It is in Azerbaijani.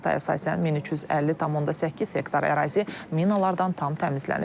Məlumata əsasən 1350,8 hektar ərazi minalardan tam təmizlənib.